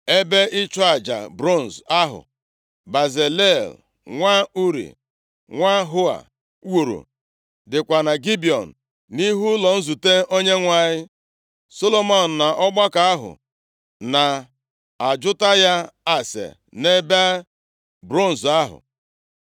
Ebe ịchụ aja bronz ahụ Bezalel nwa Uri, nwa Hua wuru dịkwa na Gibiọn, nʼihu ụlọ nzute Onyenwe anyị. Solomọn na ọgbakọ ahụ na-ajụta ya ase nʼebe bronz ahụ.